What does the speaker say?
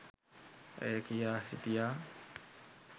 ඇය කියා සිටියා.